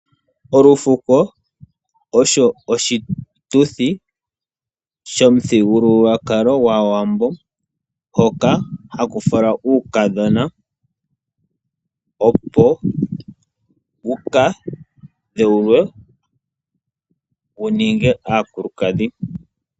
Olufuko osho oshituthi shomuthigululwakalo gwaawambo hoka haku falwa uukadhona opo wukadheulwe wuninge aakulukadhi.